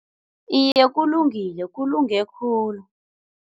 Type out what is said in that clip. Iye, kulungile, kulunge khhulu.